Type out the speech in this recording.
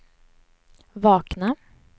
vakna